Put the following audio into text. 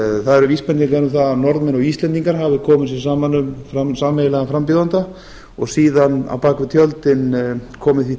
það er vísbending um það að norðmenn og íslendingar hafi komið sér saman um sameiginlegan frambjóðanda og síðan á bak við tjöldin komu því